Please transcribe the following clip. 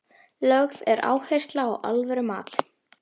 Lögð er áhersla á alvöru mat.